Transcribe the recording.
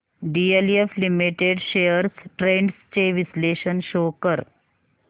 DLF limited shares trends चे विश्लेषण show कर